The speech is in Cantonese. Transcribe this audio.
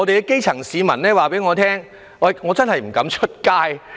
基層市民告訴我，他們不敢外出。